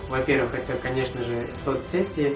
во-первых это конечно же соцсети